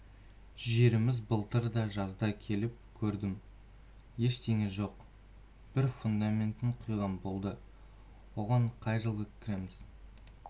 жеріміз былтырда жазда келіп көрдім ештеңе жоқ бір фундаментін құйған болды оған қай жылы кіреміз